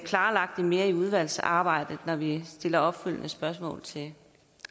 klarlagt det mere i udvalgsarbejdet når vi stiller opfølgende spørgsmål til